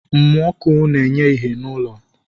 Mmụ ọkụ na-enye ìhè n'ụlọ